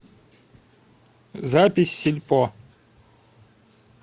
запись сельпо